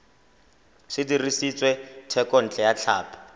se dirisitswe thekontle ya tlhapi